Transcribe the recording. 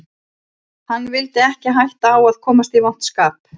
Hann vildi ekki hætta á að komast í vont skap